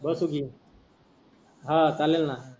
बसु की ह चालेल ना.